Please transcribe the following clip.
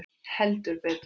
Heldur betur.